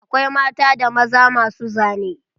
Akwai mata da maza masu zane.